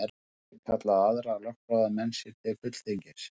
Gátu þeir kallað aðra lögfróða menn sér til fulltingis.